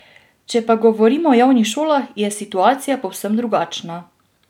Če pa govorimo o javnih šolah, je situacija povsem drugačna.